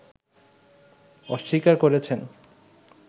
অস্বীকার করেছেন